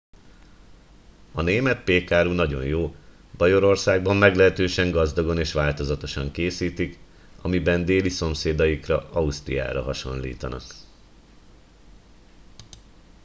a német pékáru nagyon jó bajorországban meglehetősen gazdagon és változatosan készítik amiben déli szomszédaikra ausztriára hasonlítanak